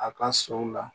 A ka sow la